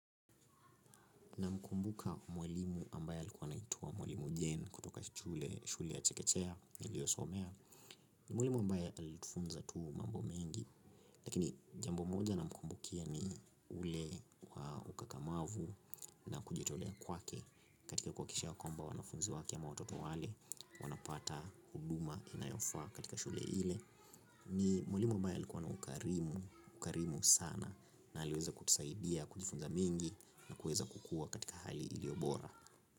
Namkumbuka mwalimu ambaye alikuwa anaituwa mwalimu jane kutoka shule shule ya chekechea niliyosomea ni mwalimu ambaye alitufunza tu mambo mengi. Lakini jambo moja namkumbukia ni ule ukakamavu na kujitolea kwake katika kuhakikisha kwamba wanafunzi wake ama watoto wale wanapata huduma inayofaa katika shule ile. Ni mwalimu ambaye alikuwa na ukarimu sana na aliweza kutusaidia kujifunza mengi na kuweza kukua katika hali iliyo bora.